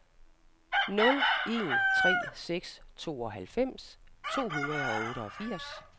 nul en tre seks tooghalvfems to hundrede og otteogfirs